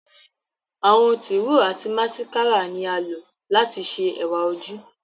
Àwọn tiro ati masikara ni a lo lati ṣe ẹwa oju